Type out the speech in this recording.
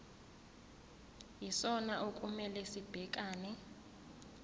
yisona okumele sibhekane